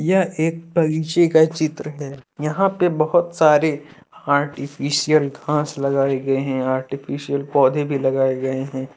यह एक बगीचे का चित्र है यहां पे बहुत सारे आर्टिफिशियल घास लगाए गए है आर्टीफिशियल पौधें भी लगाए गए हैं।